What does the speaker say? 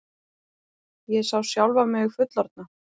Ég sá sjálfa mig fullorðna.